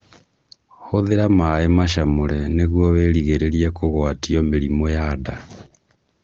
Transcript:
Hũthĩra maĩ macamũre nĩguo wĩrigĩrĩrie kũgwatio mĩrimũ ya nda